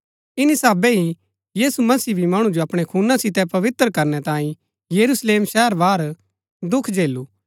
इन्‍नी साहबै ही यीशु मसीह भी मणु जो अपणै खूना सितै पवित्र करनै तांई यरूशलेम शहर बाहर दुख झेलू